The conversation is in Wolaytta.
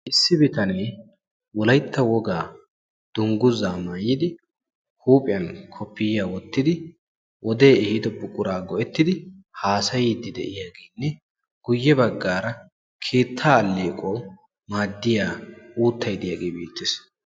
Issi biitaane wolaytta wogaa dungguzza maayidi huuphphiyan koppiyaa wottidi wode ehido buqura go'ettidi hasayidi de'iyagenne, guyee baggara keetta alleequwawu maaddiya uuttay de'iyage beettees.